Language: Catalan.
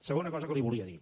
segona cosa que li volia dir